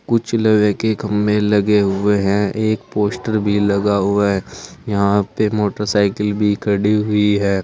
कुछ लोहे के खंभें लगे हुए हैं। एक पोस्टर भी लगा हुआ है। यहां पे मोटरसाइकिल भी खड़ी हुई है।